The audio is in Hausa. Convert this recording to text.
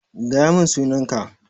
Gaya min sunan ka!